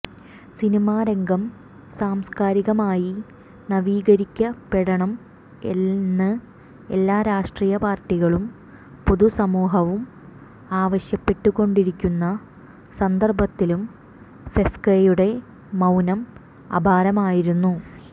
cinema രംഗം സാംസ്കാരികമായി നവീകരിക്കപ്പെടണം എന്ന് എല്ലാ രാഷ്ട്രീയ പാർട്ടികളും പൊതുസമൂഹവും ആവശ്യപ്പെട്ടുകൊണ്ടിരിക്കുന്ന സന്ദർഭത്തിലും ഫെഫ്കയുടെ മൌനം അപാരമായിരുന്നു